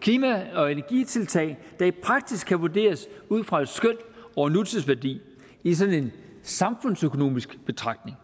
klima og energitiltag der i praksis kan vurderes ud fra et skøn over nutidsværdi i sådan en samfundsøkonomisk betragtning